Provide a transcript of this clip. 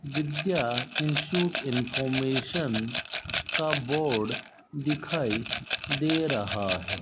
विद्या institute information का board दिखाई दे रहा है।